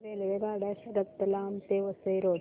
रेल्वेगाड्या रतलाम ते वसई रोड